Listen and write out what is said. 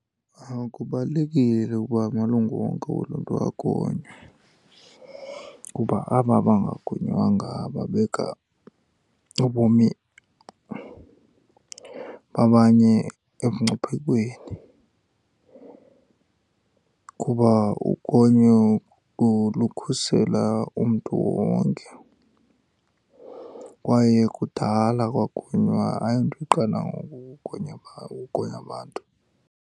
Kubalulekile ukuba amalungu wonke woluntu agonywe, kuba aba bangagonywanga babeka ubomi babanye emngciphekweni. Kuba ugonyo lukhusela umntu wonke kwaye kudala kwagonywa, ayonto iqala ngoku ugonya, ugonya abantu.